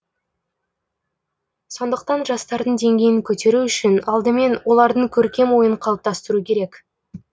сондықтан жастардың деңгейін көтеру үшін алдымен олардың көркем ойын қалыптастыру керек